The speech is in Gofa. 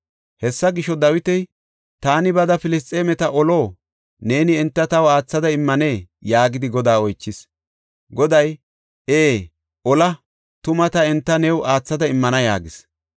Hessa gisho, Dawiti, “Taani bada Filisxeemeta olo? Neeni enta taw aathada immanee?” yaagidi Godaa oychis. Goday, “Ee ola; tuma ta enta new aathada immana” yaagis.